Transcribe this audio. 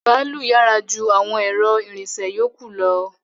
Bàálù yára ju àwọn ẹ̀rọ ìrìnsẹ̀ yókù lọ